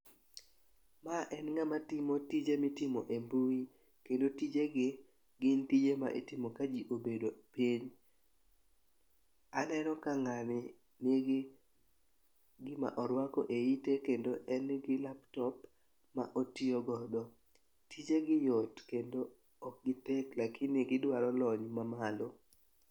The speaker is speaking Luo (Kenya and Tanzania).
Ma en ng'ama timo tije ma itimo e mbui, kendo tijegi, gin tije ma itimo ka ji obedo piny. Aneno ka ng'ani nigi gima orwako e ite kendo en gi laptop ma otiyogodo. Tijegi yot kendo ok gitek lakini gidwaro lony mamalo.